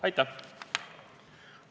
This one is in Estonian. Aitäh!